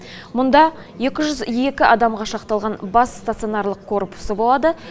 мұнда екі жүз екі адамға шақталған бас стационарлық корпусы болады